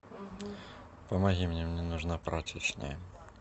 помоги мне мне нужна прачечная